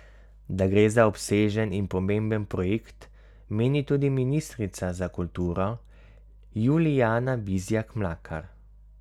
Da gre za obsežen in pomemben projekt meni tudi ministrica za kulturo Julijana Bizjak Mlakar.